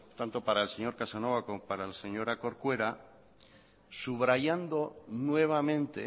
tanto para el señor casanova como para la señora corcuera subrayando nuevamente